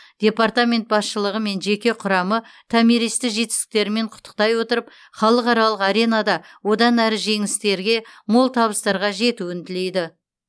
департамент басшылығы мен жеке құрамы томиристі жетістіктерімен құттықтай отырып халықаралық аренада одан әрі жеңістерге мол табыстарға жетуін тілейді